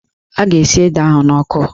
A ga-esi ede ahụ n'ọkụ